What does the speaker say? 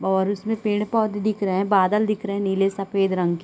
और उसमें पेड़ - पौधे दिख रहै हैं बादल दिख रहै है नीले - सफ़ेद रंग के --